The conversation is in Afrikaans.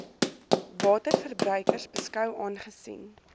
waterverbruikers beskou aangesien